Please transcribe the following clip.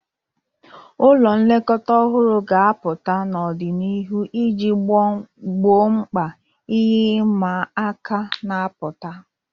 Ụlọ nlekọta ọhụrụ ga-apụta n'ọdịnihu iji gboo mkpa ihe ịma aka na-apụta.